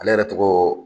Ale yɛrɛ tɔgɔ